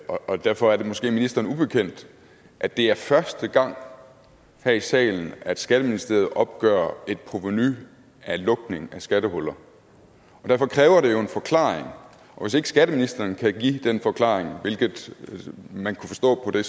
og derfor er det måske ministeren ubekendt at det er første gang her i salen at skatteministeriet opgør et provenu af lukning af skattehuller og derfor kræver det jo en forklaring og hvis ikke skatteministeren kan give den forklaring hvilket man kunne forstå på det